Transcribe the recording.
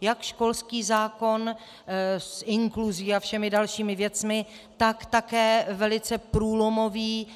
Jak školský zákon s inkluzí a všemi dalšími věcmi, tak také velice průlomový